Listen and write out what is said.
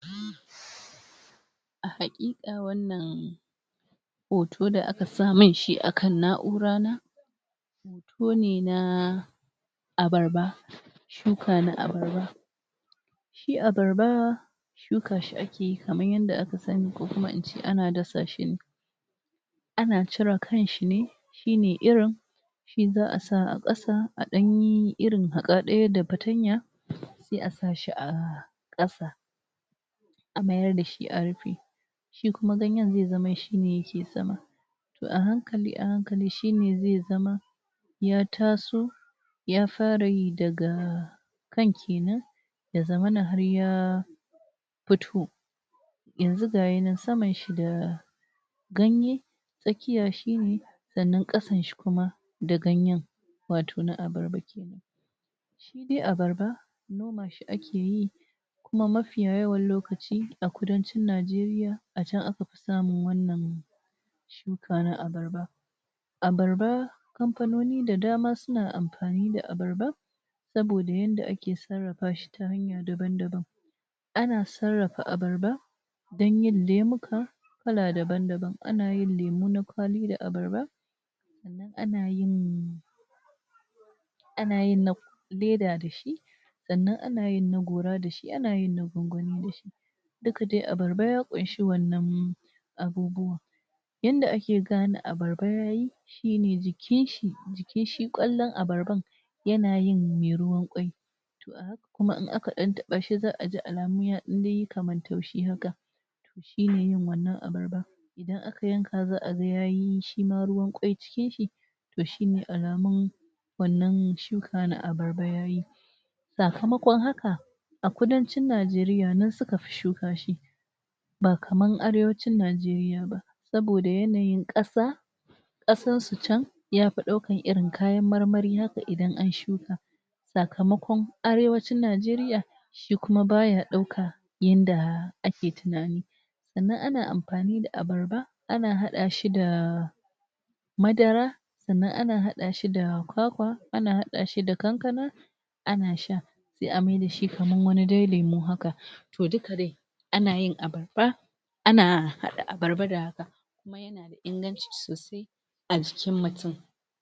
A Hakika Wannan Hoto Da Aka Sa Min Shi A Na’ura Na, Hoto Ne Na Abarba Shuka Na Abarba. Shi Abarba, Shuka Shi Ake Yi Kamar Yadda Aka Sani, Ko Kuma In Ce Ana Dasa Shi Ne. Ana Cire Kanshi Ne, Shine Irin Shi Za A Sa A Ƙasa A Ɗanyi Irin Haka Ɗaya Da Patanya, Sai A Sa Shi Ahh A Ƙasa A Mayar Da Shi A Rufe. Shi Kuma Ganyen Zai Zama Shine Sama. Toh A Hankali-A Hankali Shine Zai Zama Ya Taso Ya Fara Yi, Daga... Kan Kenan Ya Zammana Har Ya Fito Yanzu Gashi Nan Saman Shi Da.. Ganye Tsakiyar Shi Ne Sannan Ƙasan Shi Kuma Da Ganyen Wato Na Abarba Kenan Shi Dai Abarba Noma Shi Ake yi Kuma Mafi Yawan Lokaci A Kudancin Najeriya A Can Aka Fi Samun Wannan Shuka Na Abarba. Abarba Kamfanoni Da Dama Suna Amfani Da Abarba Saboda Yadda Ake Sarrafa Shi Ta Hanya Daban-Daban. Ana Sarrafa Abarba Don Yin Lemuka Kala Daban-Daban. Ana Yin Lemu Na Kwalba Da Abarba Sannan Anayin.. Anayin na Leda Dashi!.. Sannan Anayin Na Gora Dashi Anayin na Gongoni Dashi Duka Dai Abarba Ya Kunshi Wannan Abubuwan Yadda Ake Gane Abarba Yayi Shine Jikin shi Jikin Shi Kwallon Abarban Yana Yin Mai Ruwan Ƙwai. Toh A Haka Dai Kuma Idan Aka Taɓa Shi Za A Ji Kamar Yayi Taushi Haka Toh Shine. Yin Wannan Abarba Idan Aka Yanka Za A Ga Yayi, Shima Ruwan Ƙwai Cikin Shi Toh Shine Alamun Wannan Shuka Na Abarba Yayi. Sakamakon Haka A Kudancin Najeriya Suka Fi Shuka Shi Ba Kamar Arewacin Najeriya Ba Saboda Yanayin Ƙasa. Kasan Su Can Ya Fi Ɗaukar Irin Kayan Marmari. Haka Idan An Shuka Sakamakon Arewacin Najeriya Shi Kuma Baya Ɗauka Yadda Ake Tunani Sannan Ana Amfani Da Abarba Ana Haɗa Shi Da Madara Sannan Ana Haɗa Shi Da Kwakwa, Sannan Ana Haɗa Shi Da Kankana Ana Sha Sai A Maida Shi Dai Kamar Wani Lemu Haka. Toh Duka Dai Ana Yin Abarba Ana Haɗa.///// Kuma Yana Da Inganci Sosai A Jikin Mutum.